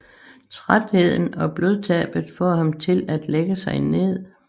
Trætheden og blodtabet får ham til at lægge sig ned